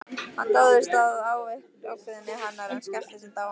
Hann dáðist að ákveðni hennar en skellti samt á hana.